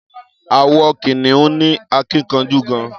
Àwọn kìnìún ní akínkanjú gan-an.